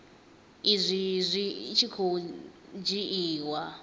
izwi zwi tshi khou dzhiiwa